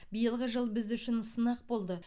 биылғы жыл біз үшін сынақ болды